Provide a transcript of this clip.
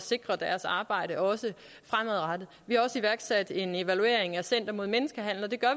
sikre deres arbejde også fremadrettet vi har også iværksat en evaluering af center mod menneskehandel det gør